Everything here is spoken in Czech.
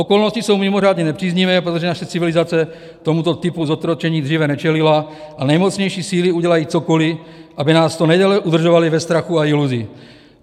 Okolnosti jsou mimořádně nepříznivé, protože naše civilizace tomuto typu zotročení dříve nečelila, a nejmocnější síly udělají cokoliv, aby nás co nejdéle udržovaly ve strachu a iluzi.